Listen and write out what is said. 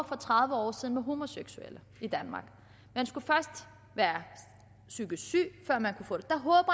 for tredive år siden til homoseksuelle i danmark man skulle først være psykisk syg der at man